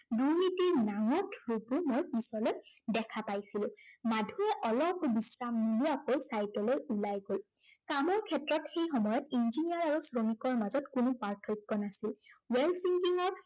দুৰ্নীতিৰ নাঙঠ ৰূপটো মই পিছলৈ দেখা পাইছিলো। মাধুৱে অলপো বিশ্ৰাম নোলোৱাকৈ sight লৈ ওলাই গল। কামৰ ক্ষেত্ৰত সেই সময়ত engineer আৰু শ্ৰমিকৰ মাজত কোনো প্ৰাৰ্থক্য় নাছিল। work ত